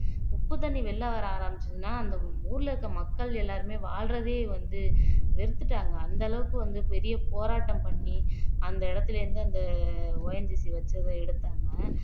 உப்பு தண்ணி வெளியில வர ஆரம்பிச்சதுன்னா அந்த ஊர்ல இருக்கிற மக்கள் எல்லாருமே வாழ்றதே வந்து வெறுத்துட்டாங்க அந்த அளவுக்கு வந்து பெரிய போராட்டம் பண்ணி அந்த இடத்துல இருந்து அந்த ONGC வச்சதை எடுத்தாங்க